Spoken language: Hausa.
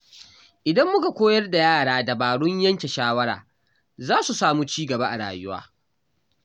Idan muka koyar da yara dabarun yanke shawara, za su samu ci gaba a rayuwa.